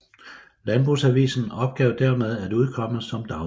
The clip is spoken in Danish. Landbrugsavisen opgav dermed at udkomme som dagblad